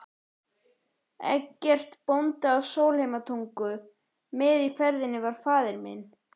Eggertssyni bónda í Sólheimatungu, með í ferðinni var faðir minn